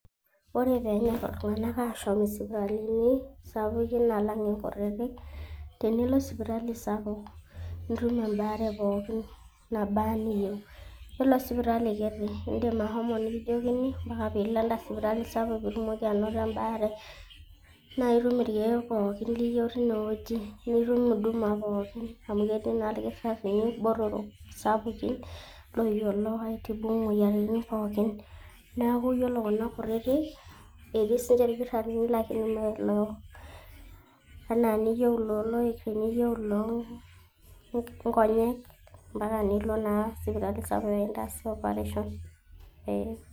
Ore peenyor iltung'anak ashom isipitalini sapukin alang' inkutitik, tenilo sipitali sapuk nitum embaare pookin nabaa eniyeu. Iyiolo sipitali kiti indim ashomo nekijokini mpaka piilo enda sipitali sapuk pii itumoki anoto embaare, naake itum irkeek pookin liyeu tinewueji. Nitum huduma pookin niyeu tinewueji amu ketii naa ilkitarini botor, sapukin, loyiolo aitibu imoyiaritin pookin. Neeku iyiolo kuna kutitik, etii sinye irkitarini kake mee enee iniyeu iloo loik, ieyeu iloo ng'onyek naa mpaka nilo naa sipitali sapuk pee kintaasi operation.